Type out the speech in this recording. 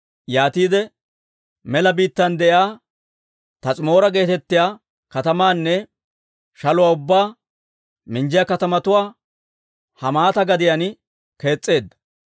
Yaatiide mela biittaan de'iyaa Taas'imoora geetettiyaa katamaanne shaluwaa ubbaa minjjiyaa katamatuwaa Hamaata gadiyaan kees's'eedda.